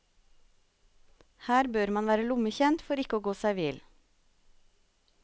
Her bør man være lommekjent for å ikke gå seg vill.